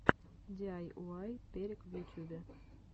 диайуай перек в ютюбе